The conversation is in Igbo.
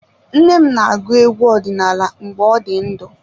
Nne m na-agụ egwu ọdinala mgbe ọ dị ndụ.